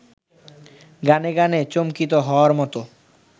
গানে গানে চমকিত হওয়ার মতো